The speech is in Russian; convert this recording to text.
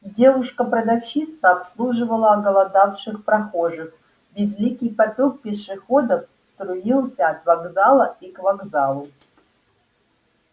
девушка-продавщица обслуживала оголодавших прохожих безликий поток пешеходов струился от вокзала и к вокзалу